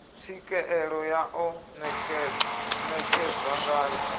tswikeelo ya ḓo netshedzwa ngayo